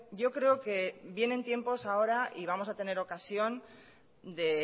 yo creo que vienen tiempos ahora y vamos a tener ocasión de